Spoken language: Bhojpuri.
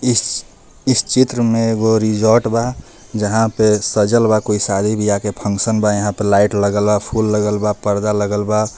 इस इस चित्र मे एगो रिजार्ट बा जहा पर सजल बा कोई शादी बिआह के फंक्शन बा यहा पे लाइट लगल बा फूल लगल बा पर्दा लगल बा.